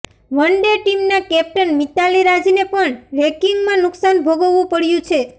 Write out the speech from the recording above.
one day ટીમના captain Mithali રાજને પણ રેન્કિંગમાં નુકસાન ભોગવવું પડ્યું છે